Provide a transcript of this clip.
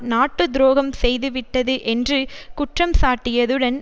நாட்டு துரோகம் செய்துவிட்டது என்று குற்றம் சாட்டியதுடன்